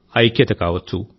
ఐక్యత కావచ్చు